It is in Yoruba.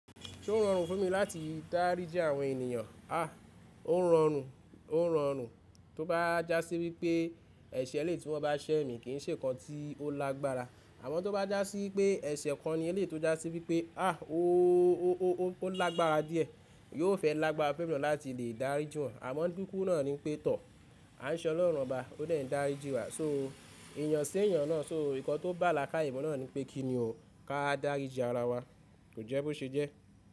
Ṣé ó rọrùn fún mi láti dáríji àwọn ènìyàn? À, ó rọrùn, ó rọrùn. Tó bá jásí wípé ẹ̀ṣẹ̀ eléyi tí wọ́n bá ṣẹ́ mi kì ń ṣe kan tí ó lágbára. Àmọ́ tó bá jásí pé ẹ̀ṣẹ̀ kan ni eléyi tó jásí wípé à ó lágbára díẹ̀, yóò fẹ́ lágbára fun emi naa láti lè dáríji wọ́n. Àmọ́ ndúku náà ni pé tọ́, à ń ṣọlọ́rùn bOá, ó dè n dáríji wa. So ènìyàn sí ènìyàn náà, so nǹkan tó bá làakáye mu náà ni pé kí ni ò ká dáríji ara wa? Kò jẹ́ bó ṣe jẹ́.